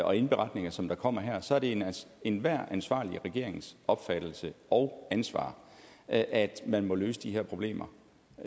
og indberetninger som der kommer her så er det enhver ansvarlig regerings opfattelse og ansvar at at man må løse de her problemer